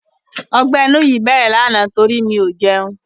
Ọgbẹ́ inú yìí bẹ̀rẹ̀ lánàá nítorí mi ò jẹun.